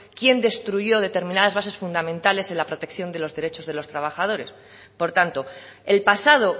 quién destruyo determinadas base fundamentales en la protección de los derechos de los trabajadores por tanto el pasado